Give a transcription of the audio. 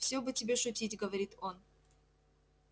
все бы тебе шутить говорит он